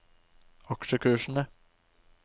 aksjekursene